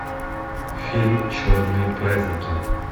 фильм черные праздники